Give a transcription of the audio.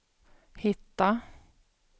hitta